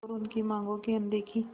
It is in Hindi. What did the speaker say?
और उनकी मांगों की अनदेखी